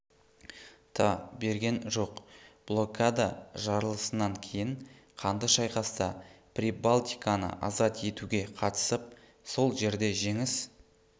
та берген жоқ блокада жарылысынан кейін қанды шайқаста прибалтиканы азат етуге қатысып сол жерде женіс